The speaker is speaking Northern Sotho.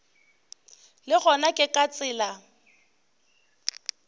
le gona ke ka tsela